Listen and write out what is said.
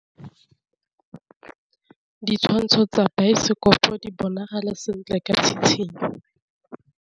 Ditshwantshô tsa biosekopo di bonagala sentle ka tshitshinyô.